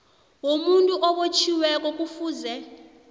womuntu obotjhiweko kufuze